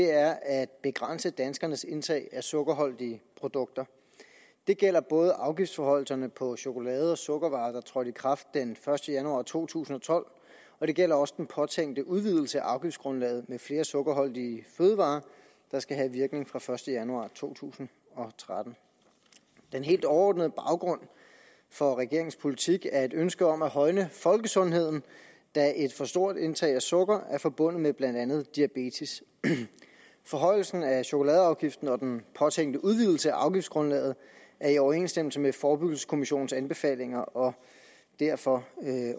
er at begrænse danskernes indtag af sukkerholdige produkter det gælder både afgiftsforhøjelserne på chokolade og sukkervarer der trådte i kraft den første januar to tusind og tolv og det gælder også den påtænkte udvidelse af afgiftsgrundlaget med flere sukkerholdige fødevarer der skal have virkning fra den første januar to tusind og tretten den helt overordnede baggrund for regeringens politik er et ønske om at højne folkesundheden da et for stort indtag af sukker er forbundet med blandt andet diabetes forhøjelsen af chokoladeafgiften og den påtænkte udvidelse af afgiftsgrundlaget er i overensstemmelse med forebyggelseskommissionens anbefalinger og derfor